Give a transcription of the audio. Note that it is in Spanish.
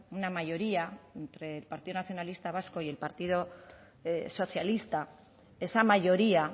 una mayoría entre el partido nacionalista vasco y el partido socialista esa mayoría